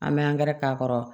An bɛ angɛrɛ k'a kɔrɔ